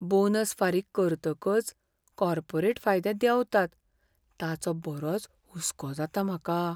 Bonus फारीक करतकच corporate फायदे देंवतात ताचो बरोच हुसको जाता म्हाका.